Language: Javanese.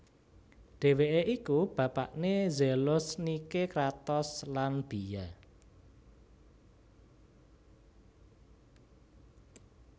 Dhèwèké iku bapakné Zelos Nike Kratos lan Bia